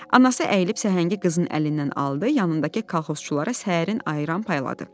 Anası əyilib səhəngi qızının əlindən aldı, yanındakı kolxozçulara səhərin ayran payladı.